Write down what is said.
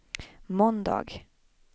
måndag